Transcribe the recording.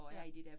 Ja